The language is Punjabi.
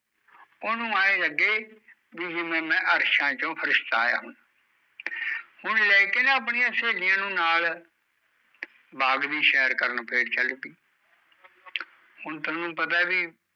ਉਹਨੂੰ ਐ ਲੱਗੇ ਜਿਵੇ ਵੇ ਮੈਂ ਅਰਸ਼ਾਂ ਤੋਂ ਫ਼ਰਿਸ਼ਤਾ ਆਇਆ ਹੋਇਆ ਹੁਣ ਲੈ ਕੇ ਨਾਂ ਆਪਣੀਆ ਸਹੇਲੀਆ ਨੂੰ ਨਾਲ਼ ਬਾਗ਼ ਦੀ ਸੇਰ ਕਰਨ ਫੇਰ ਚੱਲ ਗਈ ਹੁਣ ਤੈਨੂ ਪਤਾ ਵੀ